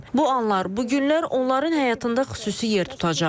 Bu anlar, bu günlər onların həyatında xüsusi yer tutacaq.